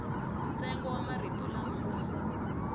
ntsengo wa marito lama nga